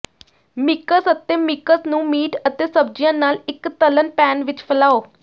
mix ਅਤੇ mix ਨੂੰ meat ਅਤੇ ਸਬਜ਼ੀਆਂ ਨਾਲ ਇੱਕ ਤਲ਼ਣ ਪੈਨ ਵਿੱਚ ਫੈਲਾਓ